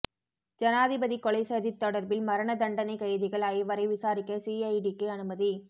ஜனாதிபதி கொலைச் சதி தொடர்பில் மரண தண்டனை கைதிகள் ஐவரை விசாரிக்க சிஐடிக்கு அனுமதி